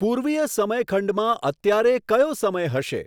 પૂર્વીય સમયખંડમાં અત્યારે કયો સમય હશે